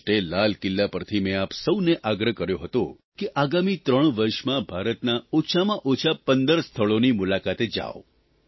15 ઓગષ્ટે લાલ કિલ્લા પરથી મેં આપ સૌને આગ્રહ કર્યો હતો કે આગામી 3 વર્ષમાં ભારતનાં ઓછામાં ઓછાં 15 સ્થળોની મુલાકાતે જાવ